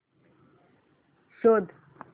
शोध